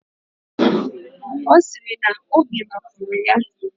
Ọ sịrị na obi mapụrụ ya.